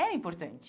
Era importante.